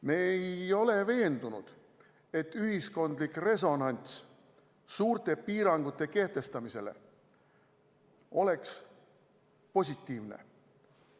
Me ei ole veendunud, et ühiskondlik resonants suurte piirangute kehtestamisele oleks positiivne.